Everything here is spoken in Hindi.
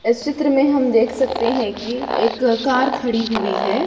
इस चित्र में हम देख सकते हैं कि एक कार खड़ी हुई है।